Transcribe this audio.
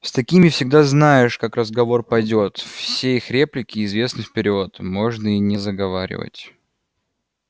с такими всегда знаешь как разговор пойдёт все их реплики известны вперёд можно и не заговаривать